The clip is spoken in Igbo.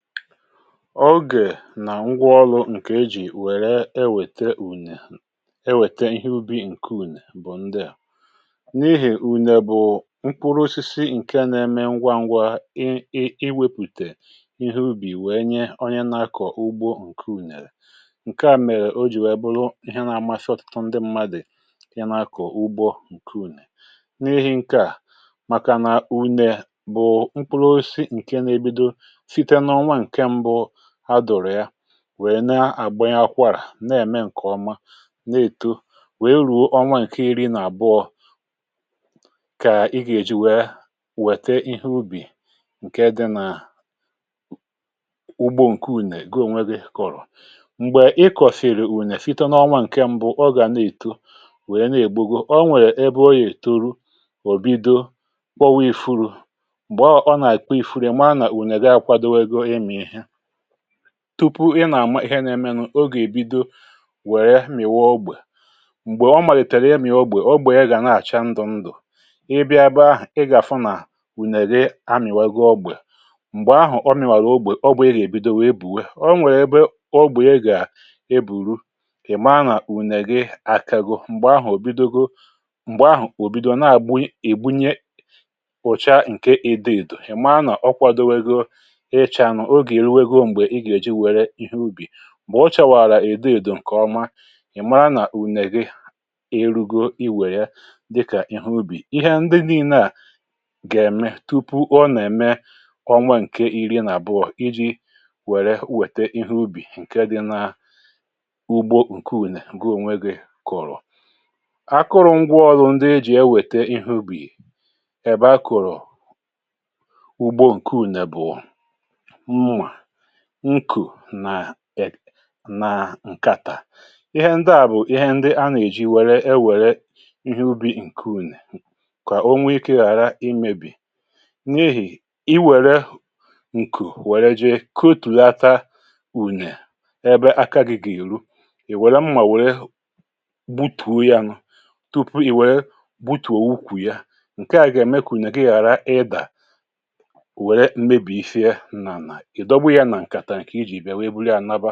Ogè nà ngwa ọlụ̀ ǹkè ejì wère ewète ùnè, ewète ihe ubi ǹke ùnè bụ̀ ndị à: N’ihì ùnè bụ̀ mkpụrụ osisi ǹke nȧ-eme ngwa ngwa I iwepùtè ihe ubì wèe nye onye na-akọ̀ ugbo ǹke ùnèrè. Nkè à mèrè o jì wèe bụrụ ihe na-amasị ọ̇tụtu ndị mmadụ̀, kà ya na-akọ̀ ugbo ǹke ùnè. N’ihi ǹke à, màkà nà unè bụ̀ mkpụrụ osisi ǹke na-ebido site n'onwa nkè ṁbụ adụru yà, wèe na-àgbanye akwȧrà, n’ème ǹkè ọma, na-èto, wèe ru̇ọ onwa ǹke iri̇ nà-àbụọ, kà ị gà-èji wèè wète ihe ubì, ǹke dị nà ugbo ǹke ùnè, gi o nwe gi̇ kọ̀rọ̀. Mgbè ị kọ̀sìrì ùnè site n’ọnwa ǹke m̀bụ, ọ gà na-èto wèe na-ègbugo, o nwèrè ebe ọ yà-ètoru, ò bido kpọwa i̇furu̇. Mgbè ahụ ọ nà-àkpọ ifuru, i marà na ùnè gị ȧkwadȯwego I mi ìhe. Tupu ị nà-àma ihe n’emenụ̇, ogè èbido wèrè m̀iwà ogbè. Mgbè ọ màlìtèrè imi ogbè, ogbè ya gà na-àcha ndụ̇ ndụ̀. ị bịa ebè ahụ̀, ị gà-àfụ nà, ùnè gị amị̀wago ogbè. Mgbè ahụ̀ ọ mìwàrà ogbè, ogbè ị gà-èbido wèe bùwe.ọ nwèrè ebe ogbè ya gà e bùru, ị̀maa nà ùnè gị àkàgo. Mgbè ahụ̀ ò bidogo, m̀gbè ahụ̀ ò bidòo na-àgbu, ị̀gbunye ụ̀cha ǹke ido idò. Mgbè ahụ̀ ị̀ maa nà ọ kwàdogo icha. Ogè oruwago ìgà èji wère ihe ubì. Mgbè ọ chọwàrà ido ido ǹkè ọma, ị̀ mara nà ùne gị irugo iwè ya dịkà ihe ubì. Ihe ndị niine à gà-ème tupu ọ nà-ème ọnwa ǹke iri n’àbụọ, iji̇ wère nwète ihe ubì ǹke dị na ugbo ǹke ùnè gị̇ onwe gị̇ kụ̀rụ̀. Akụrụ̇ ngwa ọrụ ndị ejì enwenta Ihe ubì, ebe akuru ugbȯ ǹke ùne bụ; Mmȧ, nkù nà ek ǹkàtà. Ihe ndị à bụ̀ ihe ndị a nà-èji wère, e wère ihe ubì ǹke ùnè, kà o nwe ikė ghàra imėbì. N’ihì, i wère nkù wère jee kòtùlata ùnè, ebe akȧ gị̇ gà-èru, ì wère mmà wère gbutùo ya nụ, tupu ì wère gbutùo ukwù ya, ǹke à gà-ème kà ùne gị ghàra ịdà, wère mmebì sie nà-ànà. I dowu yà na ǹkàtà nkè ịjì bịa wee bụrụ ya laba.